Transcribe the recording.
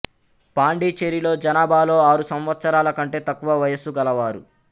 పాండిచేరిలో జనాభాలో ఆరు సంవత్సరాల కంటే తక్కువ వయస్సు గలవారు